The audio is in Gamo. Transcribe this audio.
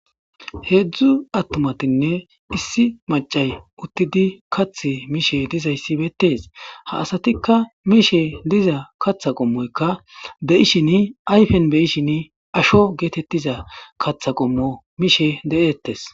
Heedzu attumatinne issi maccay uttidi kaththi mishe dizaysi beetees. Ha asatima mishe diza kaththa qommoyka de'ishini ayfen be'ishini asho geetetiza kaththa qommo mishe de'etees.